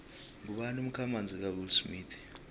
ngubani umkhamanzi kawillsmith